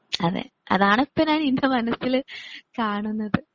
അതെ അതാണിപ്പോ ഇന്റെ മനസ്സിൽ കാണുന്നത്.